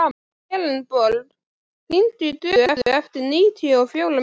Elenborg, hringdu í Döðu eftir níutíu og fjórar mínútur.